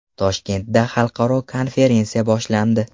Toshkentda xalqaro konferensiya boshlandi.